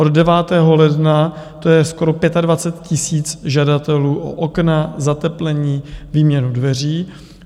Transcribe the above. Od 9. ledna to je skoro 25 000 žadatelů o okna, zateplení, výměnu dveří.